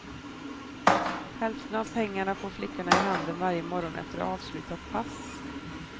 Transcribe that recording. Hälften av pengarna får flickorna i handen varje morgon efter avslutat pass.